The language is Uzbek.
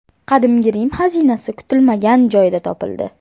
Qadimgi Rim xazinasi kutilmagan joyda topildi.